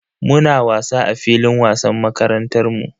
Muna wasa a filin wasan makarantar mu.